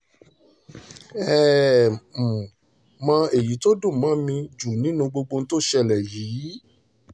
ẹ ẹ́ um mọ èyí tó dùn mọ́ um mi nínú jù nínú gbogbo ohun tó ṣẹlẹ̀ yìí